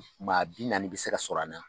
Maa bi naani bɛ se ka sɔr'an na.